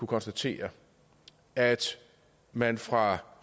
konstatere at man fra